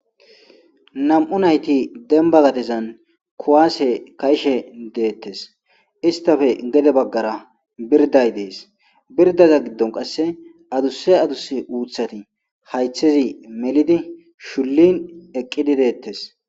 2 nayti demba gadezan kuwase ka'ishe detes istappe gede bagara biriday des biridaza gidon qaseka adusa adusa uthati haythes melidi shulin eqidi dettes